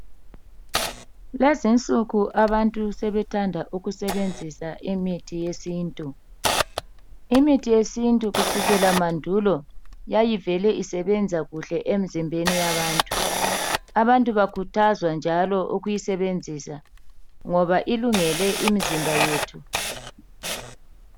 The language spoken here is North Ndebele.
Kulezinsuku abantu sebethanda ukusebenzisa imithi yesintu imithi yesintu yayivele isebenza kuhle kusukela mandulo , abantu bayakhuthazwa ngoba ilungele imizimba yethu.